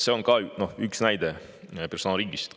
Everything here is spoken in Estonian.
See on üks näide personaalriigist.